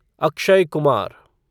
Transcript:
Akshay Kumar